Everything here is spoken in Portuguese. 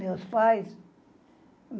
Meus pais?